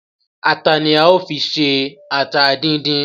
Ata ni a ó fi ṣe ata díndín